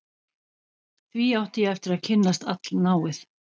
Því átti ég eftir að kynnast allnáið.